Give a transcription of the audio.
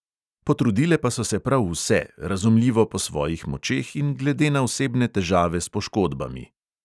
Potrudile pa so se prav vse, razumljivo po svojih močeh in glede na osebne težave s poškodbami.